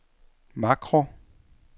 makro